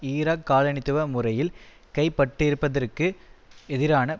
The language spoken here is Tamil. ஈராக் காலனித்துவ முறையில் கைபட்டிருப்பதற்கு எதிரான